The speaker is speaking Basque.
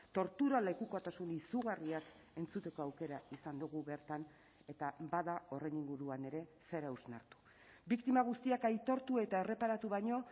tortura lekukotasun izugarriak entzuteko aukera izan dugu bertan eta bada horren inguruan ere zer hausnartu biktima guztiak aitortu eta erreparatu baino